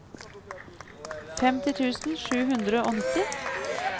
femti tusen sju hundre og nitti